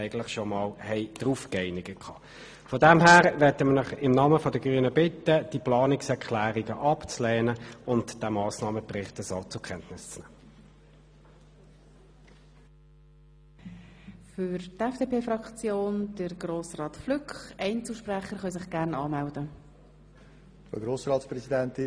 Deshalb bitte ich Sie im Namen der Grünen, diese Planungserklärungen abzulehnen und den Massnahmenbericht so zur Kenntnis zu nehmen.